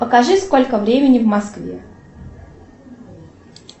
покажи сколько времени в москве